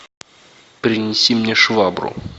принеси мне швабру